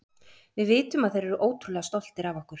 Við vitum að þeir eru ótrúlega stoltir af okkur.